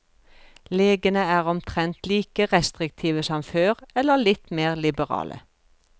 Legene er omtrent like restriktive som før, eller litt mer liberale.